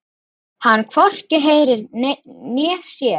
Hann hvorki heyrir né sér.